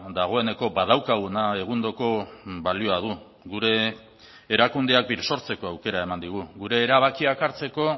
dagoeneko badaukaguna egundoko balioa du gure erakundeak birsortzeko aukera eman digu gure erabakiak hartzeko